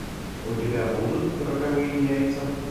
у тебя будут роковые яйца